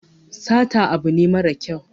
Sata abu ne mara kyau